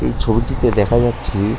এই ছবি টিতে দেখা যাচ্ছে--